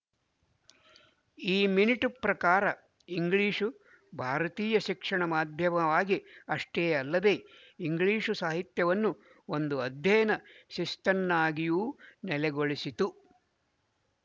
ಈ ಮಿನಿಟು ಪ್ರಕಾರ ಇಂಗ್ಲಿಶು ಭಾರತೀಯ ಶಿಕ್ಷಣ ಮಾಧ್ಯಮವಾಗಿ ಅಷ್ಟೇ ಯಲ್ಲದೇ ಇಂಗ್ಲಿಶು ಸಾಹಿತ್ಯವನ್ನು ಒಂದು ಅಧ್ಯಯನ ಶಿಸ್ತನ್ನಾಗಿಯೂ ನೆಲೆಗೊಳಿಸಿತು